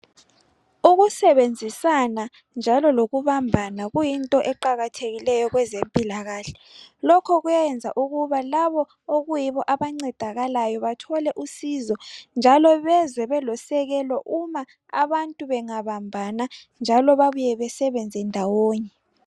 Ukusebenzisana njalo lokubambana kuyinto eqakathekileyo kwezempilakahle lokhu kuyayenza ukuba labo okuyibo abancedakalayo bathole usizo njalo bezwe belosekelo uma abantu bengabambana njalo babuye besebenze ndawonye